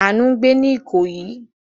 Àánú ń gbé ní Ìkòyí.